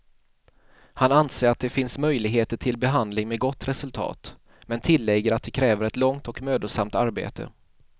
Han anser att det finns möjligheter till behandling med gott resultat, men tillägger att det kräver ett långt och mödosamt arbete.